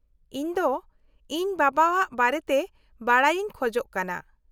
-ᱤᱧ ᱫᱚ ᱤᱧ ᱵᱟᱵᱟ ᱟᱜ ᱵᱟᱨᱮᱛᱮ ᱵᱟᱰᱟᱭ ᱤᱧ ᱠᱷᱚᱡ ᱠᱟᱱᱟ ᱾